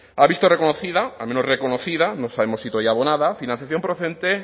ha visto reconocida al menos reconocida no sabemos si todavía abonada financiación procedente